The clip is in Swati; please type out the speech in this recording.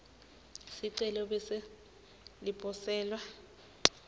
sicelo bese liposelwa